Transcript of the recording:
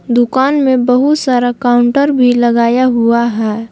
दुकान में बहुत सारा काउंटर भी लगाया हुआ है।